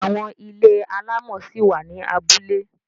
Àwọn ilé alámọ̀ ṣi wà ní abúlé.